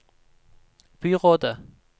byrådet